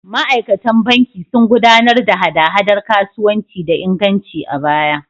Ma’aikatan banki sun gudanar da hada-hadar kasuwanci da inganci a baya.